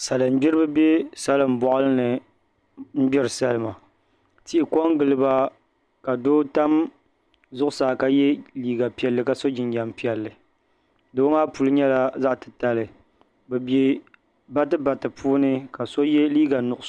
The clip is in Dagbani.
Salin gbiribi bɛ salin boɣali ni n gbiri salima tihi ko n giliba ka doo tam zuɣusaa ka yɛ liiga piɛlli ka so jinjɛm piɛlli doo maa puli nyɛla zaɣ titali bi bɛ bati bati puuni ka so yɛ liiga nuɣso